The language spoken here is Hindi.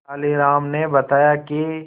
तेनालीराम ने बताया कि